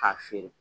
K'a feere